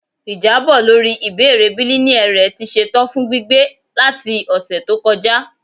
Ijabọ lori ibeere bilineal rẹ ti ṣetan fun gbigbe lati ọsẹ to kọja